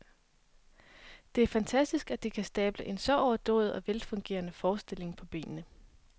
Det er fantastisk at de kan stable en så overdådig og velfungerende forestilling på benene.